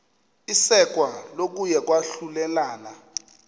isekwa kokuya kwahlulelana